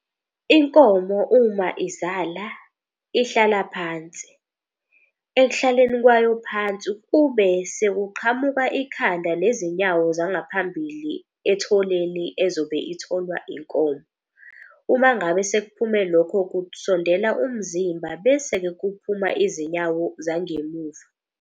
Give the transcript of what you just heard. Inkomo uma izala ihlala phansi ekuhlaleni kwayo phansi, kube sekuqhamuka ikhanda nezinyawo zangaphambilini etholeni ezobe etholwa inkomo. Uma ngabe sekuphume lokho kusondela umzimba, bese-ke kuphuma izinyawo zangemuva.